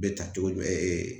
Bɛ ta cogo jumɛn